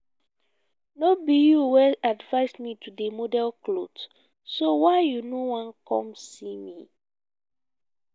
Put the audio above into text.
no be you wey advice me to dey model cloth so why you no wan come see me?